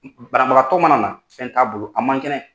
Banabagatɔ mana na fɛn t'a bolo a man kɛnɛ.